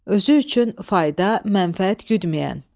Özü üçün fayda, mənfəət güdməyən.